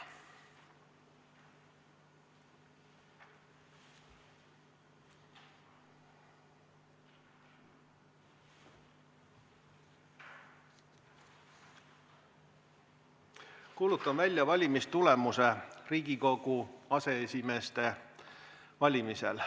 Kuulutan välja valimistulemuse Riigikogu aseesimeeste valimisel.